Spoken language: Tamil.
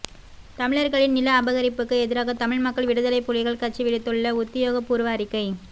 தமிழர்களின் நில அபகரிப்புக்கு எதிராக தமிழ் மக்கள் விடுதலைப் புலிகள் கட்சி விடுத்துள்ள உத்தியோகபூர்வ அறிக்கை